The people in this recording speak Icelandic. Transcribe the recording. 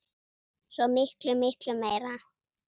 Svo miklu, miklu meira.